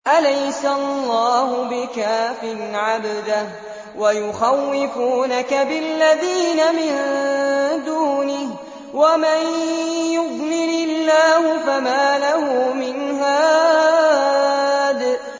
أَلَيْسَ اللَّهُ بِكَافٍ عَبْدَهُ ۖ وَيُخَوِّفُونَكَ بِالَّذِينَ مِن دُونِهِ ۚ وَمَن يُضْلِلِ اللَّهُ فَمَا لَهُ مِنْ هَادٍ